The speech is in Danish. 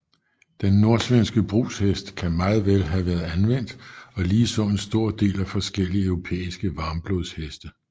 Den nordsvenske brugshest kan meget vel have været anvendt og ligeså en stor del af forskellige europæiske varmblodsheste